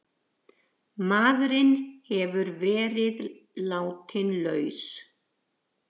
Maðurinn hefur verið látinn laus